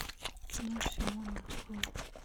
кино симона открой